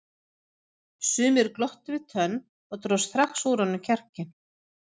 Sumir glottu við tönn og drógu strax úr honum kjarkinn.